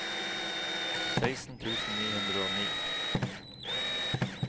seksten tusen ni hundre og ni